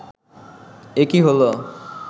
এ কী হলো